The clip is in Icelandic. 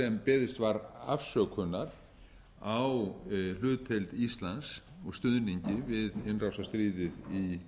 beðist var afsökunar á hlutdeild íslands og stuðningi við innrásarstríðið í